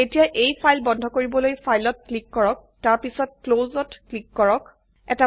এতিয়া এই ফাইল বন্ধ কৰিবলৈ ফাইলত ক্লিক কৰক তাৰপিছত ক্লছ ক্লিক কৰক